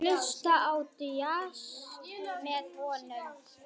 Hlusta á djass með honum.